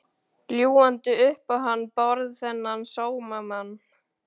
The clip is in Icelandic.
Ljúgandi upp á hann Bárð, þennan sómamann.